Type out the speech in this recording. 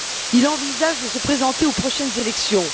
Il envisage de se présenter aux prochaines élections.